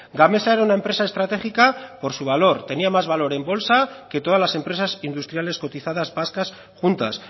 gamesa era una empresa estratégica por su valor tenía más valor en bolsa que todas las empresas industriales cotizadas vascas juntas